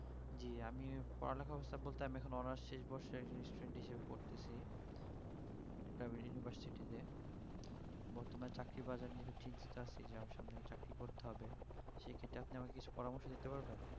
জি আমি পড়ালেখার অবস্থা বলতে আমি এখন honours এর course এর student হিসাবে পড়তেছি university তে বর্তমান চাকরি বাজার নিয়ে খুব চিন্তিত আছি যে আমার সামনে এই চাকরি করতে হবে সেই ক্ষেত্রে আপনি আমাকে কিছু পরামর্শ দিতে পারবেন